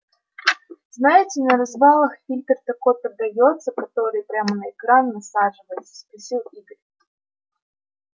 знаете на развалах фильтр такой продаётся который прямо на экран насаживается спросил игорь